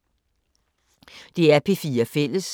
DR P4 Fælles